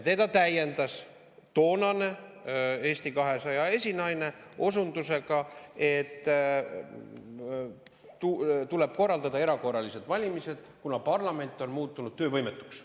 Teda täiendas toonane Eesti 200 esinaine osundusega, et tuleb korraldada erakorralised valimised, kuna parlament on muutunud töövõimetuks.